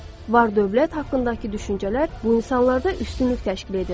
Var-dövlət haqqındakı düşüncələr bu insanlarda üstünlük təşkil edir.